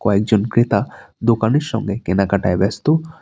কয়েকজন ক্রেতা দোকানের সঙ্গে কেনাকাটায় ব্যস্ত।